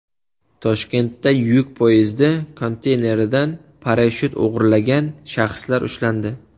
Toshkentda yuk poyezdi konteyneridan parashyut o‘g‘irlagan shaxslar ushlandi.